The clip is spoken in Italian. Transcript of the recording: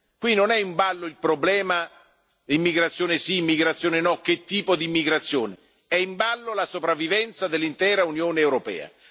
Qui non è in ballo il problema immigrazione sì, immigrazione no, che tipo di immigrazione, è in ballo la sopravvivenza dell'intera Unione europea.